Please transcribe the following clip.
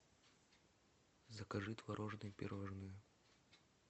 закажи творожные пирожные